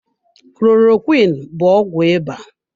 Klorokwiin bụ ọgwụ ịba.